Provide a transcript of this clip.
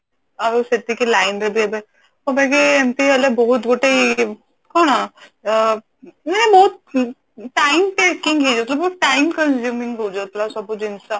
ଆଉ ସେତିକି line ରେ ବି ଏବେ ଯୋଉଟା କି ଏମତି ହେଲେ ବହୁତ ଗୋଟେ ଇଏ ଅ କଣ ଇଏ ବହୁତ time taking ହେଇଯାଉଛି ବହୁତ time consuming ହେଇଯାଉଥିଲା ସବୁ ଜିନିଷ